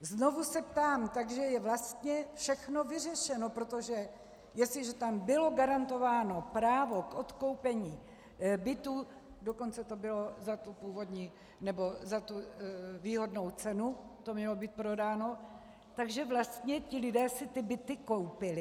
Znovu se ptám: Takže je vlastně všechno vyřešeno, protože jestliže tam bylo garantováno právo k odkoupení bytů, dokonce to bylo za tu výhodnou cenu, to mělo být prodáno, takže vlastně ti lidé si ty byty koupili?